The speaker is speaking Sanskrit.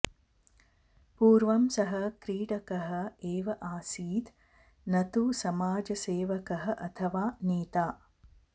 पूर्वं सः क्रीडकः एव आसीत् न तु समाजसेवकः अथवा नेता